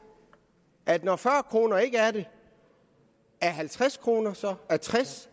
at når fyrre kroner ikke er det er halvtreds kroner så er tres